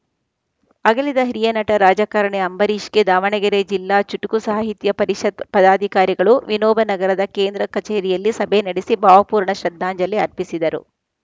ಅಗಲಿದ ಹಿರಿಯ ನಟ ರಾಜಕಾರಣಿ ಅಂಬರೀಷ್‌ಗೆ ದಾವಣಗೆರೆ ಜಿಲ್ಲಾ ಚುಟುಕು ಸಾಹಿತ್ಯ ಪರಿಷತ್‌ ಪದಾಧಿಕಾರಿಗಳು ವಿನೋಬನಗರದ ಕೇಂದ್ರ ಕಚೇರಿಯಲ್ಲಿ ಸಭೆ ನಡೆಸಿ ಭಾವಪೂರ್ಣ ಶ್ರದ್ಧಾಂಜಲಿ ಅರ್ಪಿಸಿದರು